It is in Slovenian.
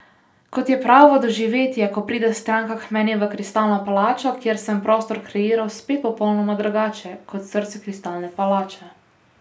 Kot je pravo doživetje, ko pride stranka k meni v Kristalno palačo, kjer sem prostor kreiral spet popolnoma drugače, kot srce Kristalne palače.